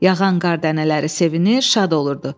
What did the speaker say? Yağan qar dənələri sevinir, şad olurdu.